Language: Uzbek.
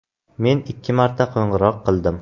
Men ikki marta qo‘ng‘iroq qildim.